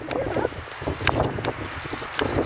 Não tinha nada.